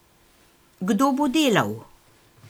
Kdo bo delal?